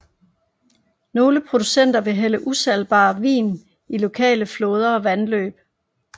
Nogle producenter ville hælde usalgbar vin i lokale floder og vandløb